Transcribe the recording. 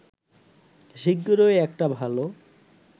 শিগগিরই একটা ভালো